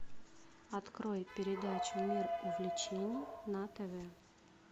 открой передачу мир увлечений на тв